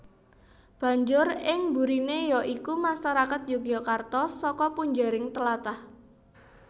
Banjur ing burine ya iku masarakat Yogyakarta saka punjering tlatah